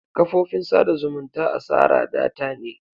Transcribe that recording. Kafofin tsada zumunta asara data ne.